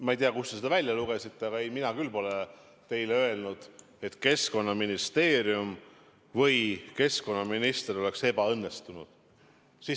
Ma ei tea, kust te selle välja lugesite, aga ei, mina küll pole teile öelnud, et Keskkonnaministeerium või keskkonnaminister oleks ebaõnnestunud.